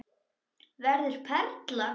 Verður perla.